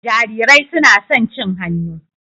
Jarirai suna son cin hannu.